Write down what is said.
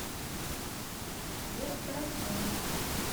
вера карасева